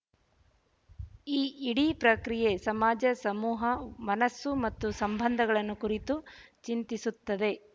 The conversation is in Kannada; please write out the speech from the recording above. ಈ ಇಡೀ ಪ್ರಕ್ರಿಯೆ ಸಮಾಜ ಸಮೂಹ ಮನಸ್ಸು ಮತ್ತು ಸಂಬಂಧಗಳನ್ನು ಕುರಿತು ಚಿಂತಿಸುತ್ತದೆ